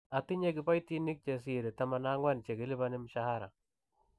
Atinye kiboitinik che sirei 14 che kilipani mshahara.